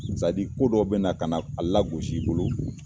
sadi Ko dɔ bɛna kana a lagosi i bolo